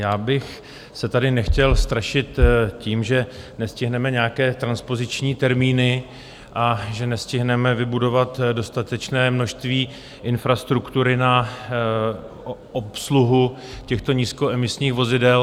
Já bych se tady nechtěl strašit tím, že nestihneme nějaké transpoziční termíny a že nestihneme vybudovat dostatečné množství infrastruktury na obsluhu těchto nízkoemisních vozidel.